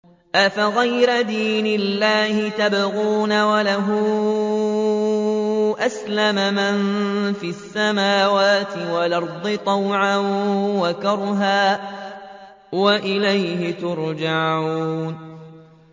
أَفَغَيْرَ دِينِ اللَّهِ يَبْغُونَ وَلَهُ أَسْلَمَ مَن فِي السَّمَاوَاتِ وَالْأَرْضِ طَوْعًا وَكَرْهًا وَإِلَيْهِ يُرْجَعُونَ